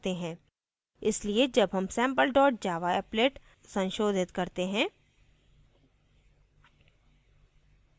इसलिए जब हम sample dot java applet संशोधित करते हैं